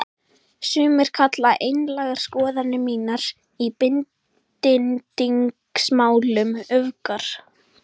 Sumir kalla einlægar skoðanir mínar í bindindismálum öfgar.